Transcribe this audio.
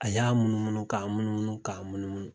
A y'a munumunu k'a munumunu k'a munumunu